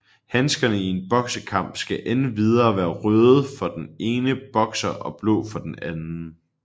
Handskerne i en boksekamp skal endvidere være røde for den ene bokser og blå for den anden